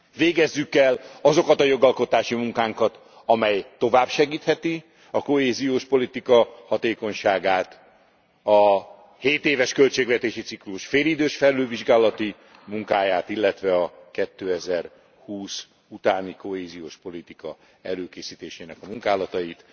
Végezzük el azokat a jogalkotási munkánkat, amely tovább segíthetik a kohéziós politika hatékonyságát, a hétéves költségvetési ciklus félidős felülvizsgálati munkáját, illetve a 2020 utáni kohéziós politika előkészítésének a munkálatait.